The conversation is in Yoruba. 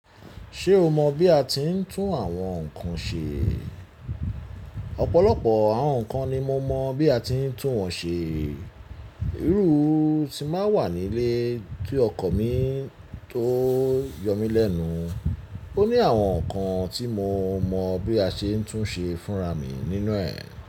Ṣé o mọ bí a ti ń tún àwọn nkan ṣe? Ọ̀pọ̀lọpọ̀ àwọn nnkan ni mo mọ̀ bí a ti ń tún wọ́n ṣe. E. Iru ti n ba wa nílé tí ọkọ̀ mi tó yọ mí lẹ́nu. Ó ní àwọn nnkan tí mo mọ̀ bí a ṣe ń tún ṣe fúnra mi nínú ẹ̀.